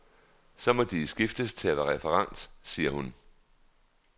Så må de skiftes til at være referent, siger hun.